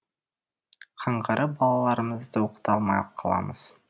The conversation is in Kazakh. қаңғырып балаларымызды оқыта алмай қаламыз